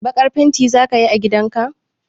Baƙar fenti za ka yi a gidan ka?